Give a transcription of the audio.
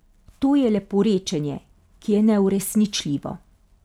To je leporečenje, ki je neuresničljivo.